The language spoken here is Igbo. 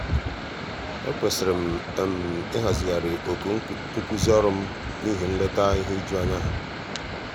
ekwesịrị m ịhazigharị oku nkuzi ọrụ m n'ihi nleta ihe ijuanya ha.